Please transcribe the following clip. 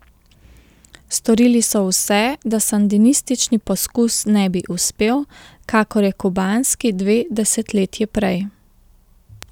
Storili so vse, da sandinistični poskus ne bi uspel, kakor je kubanski dve desetletji prej.